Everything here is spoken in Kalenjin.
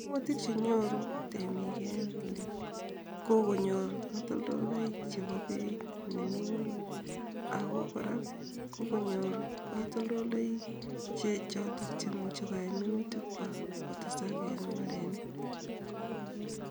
Kaimutik chenyoru temiik en oli ko konyor katoltoloik chepo peit nemi ng'weny ago kora ko konyor katoltoloik che chotok cheimuche koyai minutikwak kotesak en mbarenik